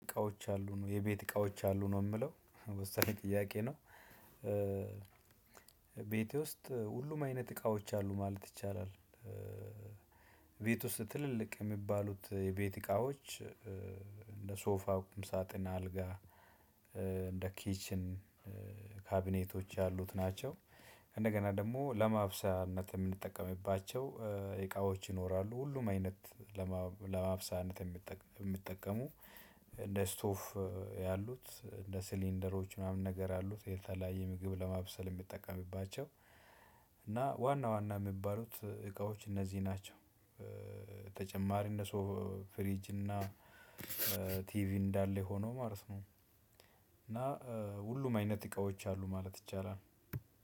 እቃዎች አሉ ነው የቤት እቃዎች አሉ ነው የምለው ወሳኝ ጥያቄ ነው። ቤቴ ውስጥ ሁሉም አይነት እቃዎች አሉ ማለት ይቻላል። ቤት ውስጥ ትልልቅ የሚባሉት የቤት እቃዎች እንደ ሶፋ ቁምሳጥን አልጋ እንደ ኪችን ካቢኔቶች ያሉት ናቸው። እንደገና ደግሞ ለማብሰያነት የምንጠቀምባቸው እቃዎች ይኖራሉ ሁሉም አይነት ለማብሰያነት የሚጠቀሙ እንደ ስቶፍ ያሉት እንደ ሲሊንደሮች ምናምን ነገር አሉት የተለያየ ምግብ ለማብሰል የሚጠቀምባቸው እና ዋና ዋና የሚባሉት እቃዎች እነዚህ ናቸው። ተጨማሪ እነሱ ፍሪጅ እና ቲቪ እንዳለ ሆኖ ማለት ነው። እና ሁሉም አይነት እቃዎች አሉ ማለት ይቻላል።